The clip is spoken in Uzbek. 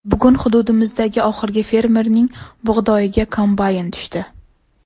Bugun hududimizdagi oxirgi fermerning bug‘doyiga kombayn tushdi.